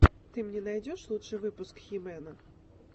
ты мне найдешь лучший выпуск хи мэна